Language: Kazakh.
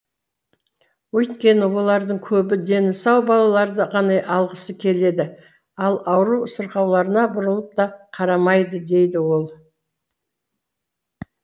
өйткені олардың көбі дені сау балаларды ғана алғысы келеді ал ауру сырқауларына бұрылып та қарамайды дейді ол